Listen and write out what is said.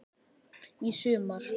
Í sumar.